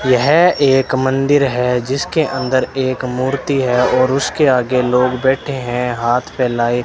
यह एक मंदिर है जिसके अंदर एक मूर्ती हैं और उसके आगे लोग बैठे हैं हाथ फैलाए --